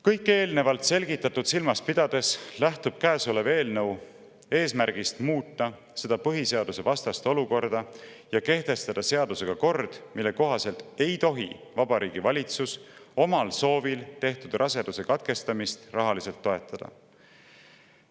Kõike eelnevalt selgitatut silmas pidades lähtub käesolev eelnõu eesmärgist muuta seda põhiseadusvastast olukorda ja kehtestada kord, mille kohaselt ei tohi Vabariigi Valitsus omal soovil tehtud raseduse katkestamist rahaliselt toetada.